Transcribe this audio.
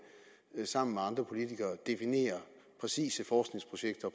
sammen med andre politikere definerer præcise forskningsprojekter